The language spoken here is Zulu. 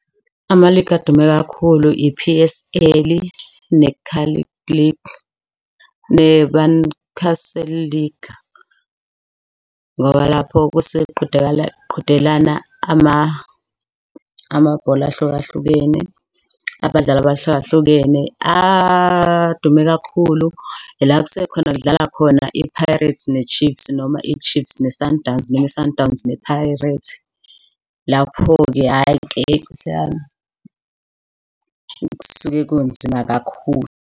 Ama-league adume kakhulu i-P_S_L ne-Carling League nebani, Castle League. Ngoba lapho kusuke kuqhudelana amabhola ahlukahlukene, abadlali abahlukahlukene. Adume kakhulu ila kusukekhona kudlala khona i-Pirates ne-Chiefs, noma i-Chiefs ne Sundowns, noma i-Sundowns ne Pirates. Lapho-ke hhayi-ke nkos'yami, kusuke kunzima kakhulu.